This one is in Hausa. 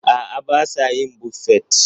A'a, ba sa yin Buffet.